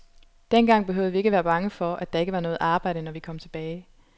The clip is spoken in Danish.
Dengang behøvede vi ikke være bange for, at der ikke var noget arbejde, når vi kom tilbage.